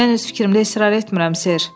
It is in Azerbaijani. Mən öz fikrimdə israr etmirəm, Ser.